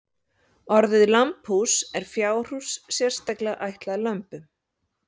Orðið lambhús er fjárhús sérstaklega ætlað lömbum.